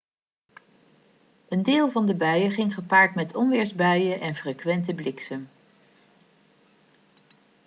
een deel van de buien ging gepaard met onweersbuien en frequente bliksem